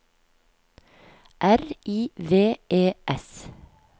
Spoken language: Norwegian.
R I V E S